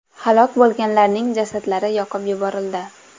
Halok bo‘lganlarning jasadlari yoqib yuborildi.